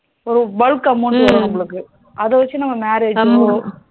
ஒரு bulk amount வரும் நமளுக்கு அத வச்சி நம்ம marriage